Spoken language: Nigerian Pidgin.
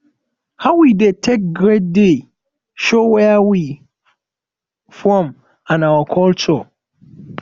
how we dey take greet dey show where we from and our culture